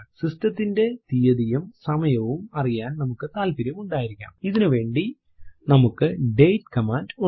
system ത്തിന്റെ തീയതിയും സമയവും അറിയാൻ നമുക്ക് താല്പര്യം ഉണ്ടായിരിക്കാംഇതിനുവേണ്ടി നമുക്ക് ഡേറ്റ് കമാൻഡ് ഉണ്ട്